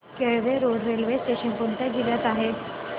Kelve road railway station कोणत्या जिल्ह्यात आहे